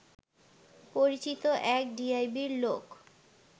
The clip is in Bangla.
পরিচিত এক ডিআইবির লোক